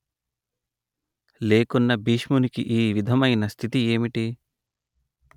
లేకున్న భీష్మునికి ఈ విధమైన స్థితి ఏమిటి